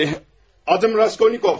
Adım Raskolnikov.